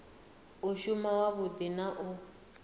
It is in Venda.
u shuma wavhudi na u